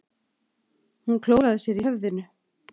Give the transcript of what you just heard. Hún klóraði sér í höfðinu.